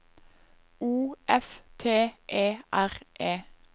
O F T E R E